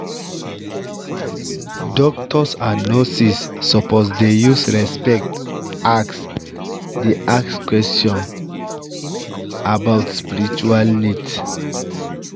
doctors and nurses suppose dey use respect ask dey ask questions about spiritual needs